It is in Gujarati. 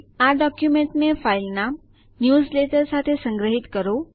આ ડોકયુમેન્ટને ફાઈલનામ ન્યૂઝલેટર સાથે સંગ્રહિત કરો